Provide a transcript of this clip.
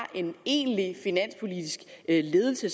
en egentlig finanspolitisk ledelse